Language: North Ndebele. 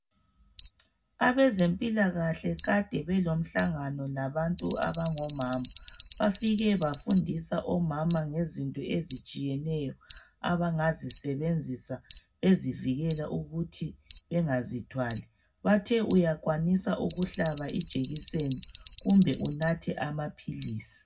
Abezempilakahle kade belomhlangano labantu abangomama. Bafike bafundisa omama ngezinto ezitshiyeneyo, abangazisebenzisa, ukuthi bangazithwali. Bathe uyakwanisa ukuhlaba ijekiseni, kumbe unathe amaphilisi.